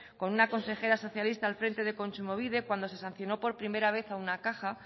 con una consejera socialista al frente de kontsumobide cuando se sancionó por primera vez a una caja